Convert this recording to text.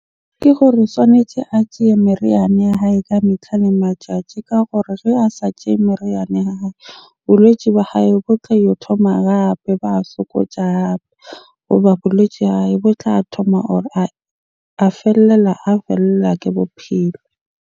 Ke gore swanetje a tjeye meriana ya hae ka metlha le matjatji ka gore a sa tjeye meriana ya hae, bolwetsi ba hae bo tle ho thoma hape. Ba hape hoba boletje ya hae bo tla thoma or a fellela a fellwa ke bophelo.